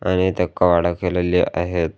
आणि इथं कपाट केलेले आहेत.